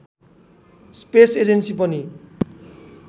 space agency पनि